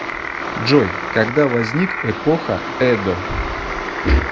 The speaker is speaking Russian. джой когда возник эпоха эдо